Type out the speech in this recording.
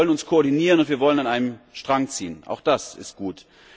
Wir wollen uns koordinieren und wir wollen an einem Strang ziehen auch das ist gut.